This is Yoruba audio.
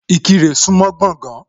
Ìkirè súńmọ́ Gbọ̀gán.